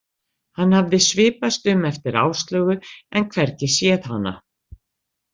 Hann hafði svipast um eftir Áslaugu en hvergi séð hana.